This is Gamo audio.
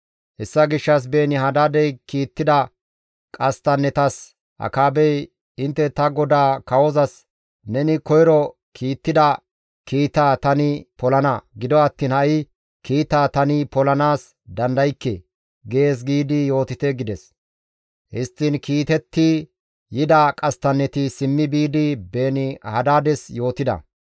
Hessa gishshas Beeni-Hadaadey kiittida qasttannetas Akaabey, «Intte ta godaa kawozas, ‹Neni koyro kiittida kiitaa tani polana; gido attiin ha7i kiitaa tani polanaas dandaykke› gees giidi yootite» gides. Histtiin kiitetti yida qasttanneti simmi biidi Beeni-Hadaades yootida.